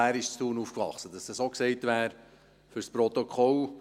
Auch er ist in Thun aufgewachsen – damit dies auch gesagt wäre, für das Protokoll.